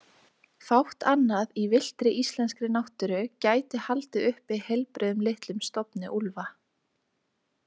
Fátt annað í villtri íslenskri náttúru gæti haldið uppi heilbrigðum litlum stofni úlfa.